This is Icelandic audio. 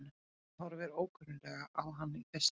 Hann horfir ókunnuglega á hann í fyrstu.